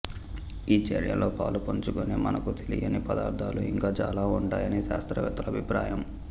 ఈ చర్యలో పాలుపంచుకొనే మనకు తెలియని పదార్థాలు ఇంకా చాలా ఉంటాయని శాస్త్రవేత్తల అభిప్రాయం